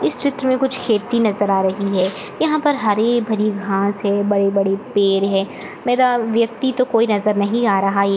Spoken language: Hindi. इस चित्र में कुछ खेती नजर आ रही है यहाँ पर हरी-भरी घास है बड़े-बड़े पेड़ है मेरा व्यक्ति तो कोई नजर नहीं आ रहा है।